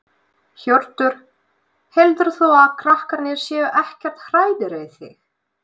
Hjörtur: Heldur þú að krakkarnir séu ekkert hræddir við þig?